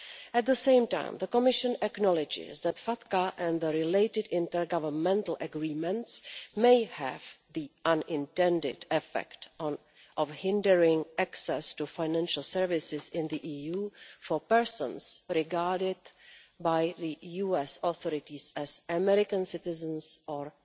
At the same time, the Commission acknowledges that FATCA and the related intergovernmental agreements may have the unintended effect of hindering access to financial services in the EU for persons regarded by the US authorities as American citizens or